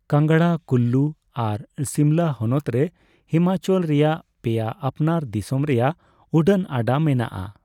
ᱠᱟᱝᱲᱟ, ᱠᱩᱞᱞᱩ ᱟᱨ ᱥᱤᱢᱞᱟᱹ ᱦᱚᱱᱚᱛ ᱨᱮ ᱦᱤᱢᱟᱪᱚᱞ ᱨᱮᱭᱟᱜ ᱯᱮᱭᱟ ᱟᱯᱱᱟᱨ ᱫᱤᱥᱚᱢ ᱨᱮᱭᱟᱜ ᱩᱰᱟᱹᱱ ᱟᱰᱟ ᱢᱮᱱᱟᱜᱼᱟ ᱾